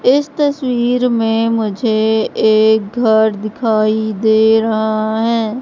इस तस्वीर में मुझे एक घर दिखाई दे रहा है।